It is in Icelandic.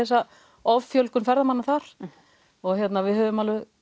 offjölgun ferðamanna þar og við höfum alveg